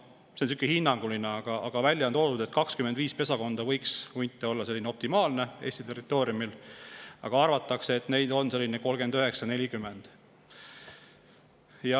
Noh, hinnanguliselt on välja toodud, et 25 pesakonda hunte võiks olla optimaalne Eesti territooriumil, aga arvatakse, et neid on 39–40.